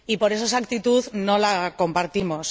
Esa actitud no la compartimos.